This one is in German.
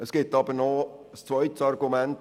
Es gibt ein zweites Argument.